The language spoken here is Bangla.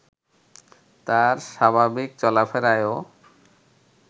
তার স্বাভাবিক চলাফেরায়ও